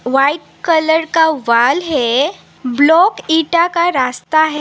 White colour का wall है block ईटा का रास्ता है।